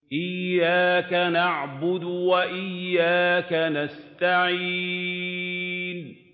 إِيَّاكَ نَعْبُدُ وَإِيَّاكَ نَسْتَعِينُ